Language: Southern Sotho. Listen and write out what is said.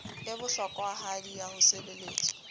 e bohlokwahadi ya ho sebeletswa